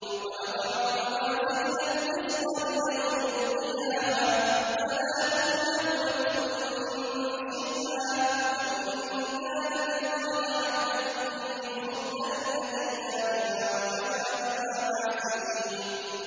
وَنَضَعُ الْمَوَازِينَ الْقِسْطَ لِيَوْمِ الْقِيَامَةِ فَلَا تُظْلَمُ نَفْسٌ شَيْئًا ۖ وَإِن كَانَ مِثْقَالَ حَبَّةٍ مِّنْ خَرْدَلٍ أَتَيْنَا بِهَا ۗ وَكَفَىٰ بِنَا حَاسِبِينَ